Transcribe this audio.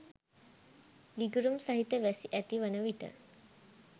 ගිගුරුම් සහිත වැසි ඇති වන විට